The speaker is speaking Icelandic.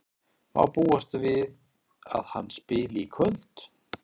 Má búast við að hann spili í kvöld?